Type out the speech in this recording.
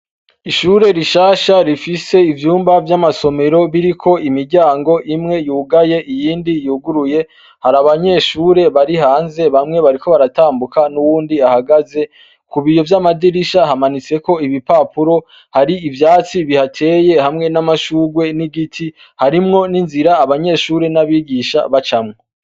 Ishure rishasha rifise ivyumba vy'amasomero biriko imiryango imwe yugaye iyindi yuguruye hari abanyeshure bari hanze bamwe bariko baratambuka n'uwundi ahagaze ku biyo vy'amadirisha hamanitseko ibipapuro hari ivyatsi bihateye hamwe n'amashurwe n'igiti harimwo ni nzira abanyeshuri n'abigisha baca mwo.